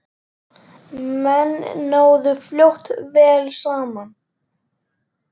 Menn náðu fljótt vel saman.